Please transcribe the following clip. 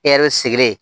E yɛrɛ sigilen